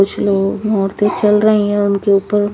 कुछ लोग ओरते चल रही है और उनके ऊपर--